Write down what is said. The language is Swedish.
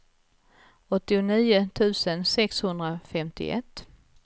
åttionio tusen sexhundrafemtioett